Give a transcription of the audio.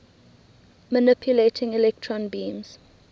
manipulating electron beams